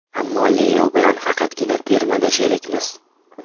Ammo Leo bilan faqatgina termada sherikmiz.